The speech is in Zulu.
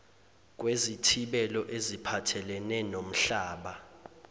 kwezithibelo eziphathelene nomhlaba